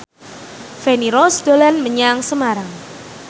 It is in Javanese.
Feni Rose dolan menyang Semarang